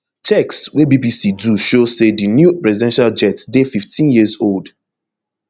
checks wey bbc do show say di new presidential jet dey fifteenyears old